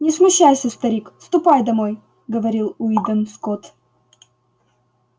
не смущайся старик ступай домой говорил уидон скотт